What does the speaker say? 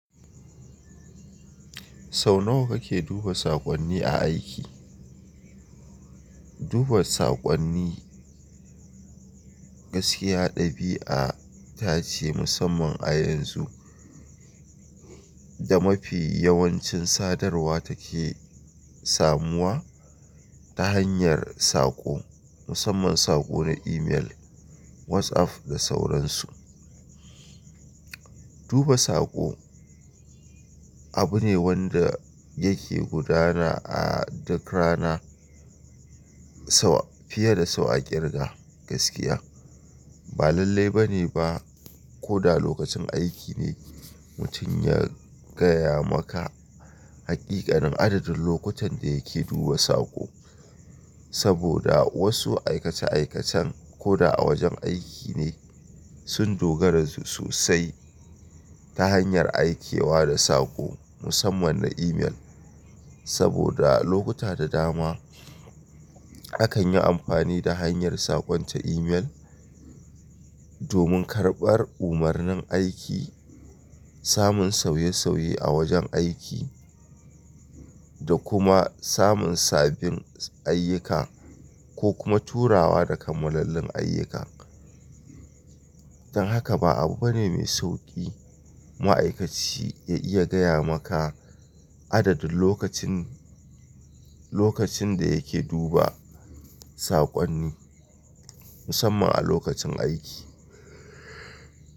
Sau nawa kake duba saƙonni a aiki? Duba saƙonni gaskiya ɗabi'a ta ce musamman a yanzu, da mafi yawancin sadarwa take samuwa ta hanyar saƙo, musamman saƙo na email, WhatsApp da sauransu. Duba saƙo abu ne wanda yake gudana a duk rana fiye da sau a kirga gaskiya. Ba lalle bane ba ko da lokacin aiki ne mutum ya gaya maka haƙiƙanin adadin lokutan da yake duba saƙo. Saboda wasu aikace-aikacen ko da a wajen aiki ne sun dogara sosai ta hanyar aikewa da saƙo musamman na email. Saboda lokuta da dama akan yi amfani da hanyar saƙon ta email domin karɓar umarnin aiki, samun sauye-sauye a wajen aiki da kuma samun sabbin ayyuka ko kuma turawa da kammalallin ayyuka. Don haka ba abu bane mai sauƙi ma'aikaci ya iya gaya maka adadin lokacin, lokacin da yake duba saƙonni musamman a lokacin aiki.